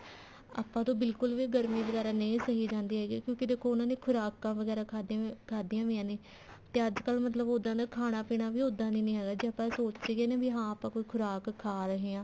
ਆਪਾਂ ਤੋਂ ਬਿਲਕੁਲ ਵੀ ਗਰਮੀ ਵਗੈਰਾ ਨਹੀਂ ਸਹੀ ਜਾਂਦੀ ਕਿਉਂਕਿ ਦੇਖੋ ਉਹਨਾ ਨੇ ਖੁਰਾਕਾਂ ਵਗੈਰਾ ਖਾਧੀਆਂ ਹੋਇਆ ਨੇ ਤੇ ਅੱਜਕਲ ਮਤਲਬ ਉੱਦਾਂ ਦਾ ਖਾਣਾ ਪੀਣਾ ਉੱਦਾਂ ਦੀ ਹੈਗਾ ਜੇ ਆਪਾਂ ਸੋਚੀਏ ਵੀ ਹਾਂ ਆਪਾਂ ਕੋਈ ਖੁਰਾਕ ਖਾ ਰਹੇ ਹਾਂ